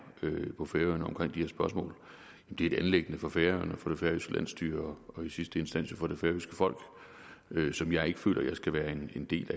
på færøerne omkring de her spørgsmål er et anliggende for færøerne og for det færøske landsstyre og i sidste instans for det færøske folk som jeg ikke føler jeg skal være en del